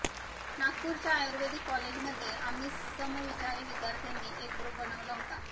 नागपूरच्या आयुर्वेदिक कॉलेजमध्ये आम्ही समविचारी विद्यार्थ्यांनी एक ग्रुप बनवला होता